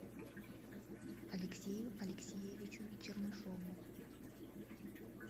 алексею алексеевичу чернышову